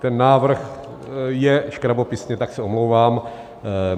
Ten návrh je škrabopisně, tak se omlouvám.